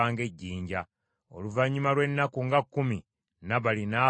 Oluvannyuma lw’ennaku nga kkumi, Nabali n’afa ekikutuko.